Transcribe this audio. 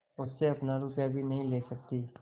मुझसे अपना रुपया भी नहीं ले सकती